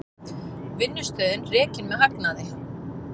Vinnslustöðin rekin með hagnaði